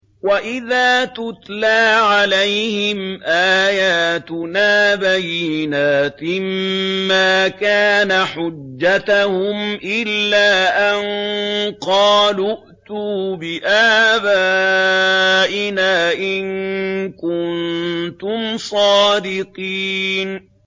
وَإِذَا تُتْلَىٰ عَلَيْهِمْ آيَاتُنَا بَيِّنَاتٍ مَّا كَانَ حُجَّتَهُمْ إِلَّا أَن قَالُوا ائْتُوا بِآبَائِنَا إِن كُنتُمْ صَادِقِينَ